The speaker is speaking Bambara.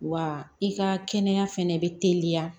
Wa i ka kɛnɛya fɛnɛ bɛ teliya